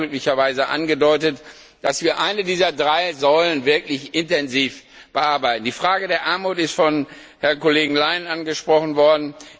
Sie haben ja glücklicherweise auch angedeutet, dass wir eine dieser drei Säulen wirklich intensiv bearbeiten. Die Frage der Armut ist vom Kollegen Leinen angesprochen worden.